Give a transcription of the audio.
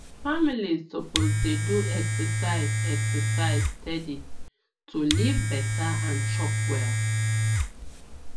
families suppose dey do exercise exercise steady to live better and chop well